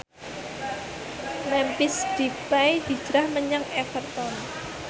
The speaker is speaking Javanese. Memphis Depay hijrah menyang Everton